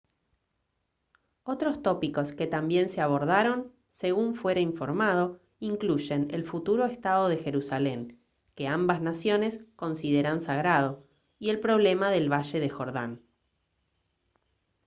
otros tópicos que también se abordaron según fuera informado incluyen el futuro estado de jerusalén que ambas naciones consideran sagrado y el problema del valle del jordán